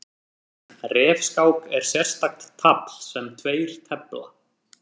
Refskák er sérstakt tafl sem tveir tefla.